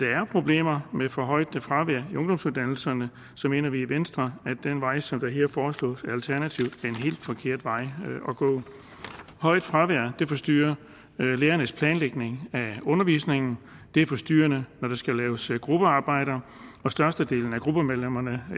er problemer med for højt fravær i ungdomsuddannelserne mener vi i venstre at den vej som der her foreslås af alternativet er en helt forkert vej at gå et højt fravær forstyrrer lærernes planlægning af undervisningen det er forstyrrende når der skal laves gruppearbejder og størstedelen af gruppemedlemmerne